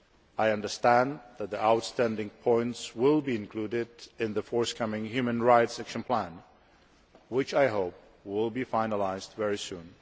I understand that the outstanding points will be included in the forthcoming Human Rights Action Plan, which I hope will be finalised very soon.